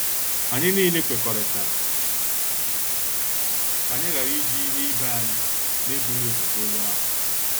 Anyị niile kwekọrịtara ka anyị ghara iji ihe ibé anyị na e bụghị ụzọ gwa onye ahụ.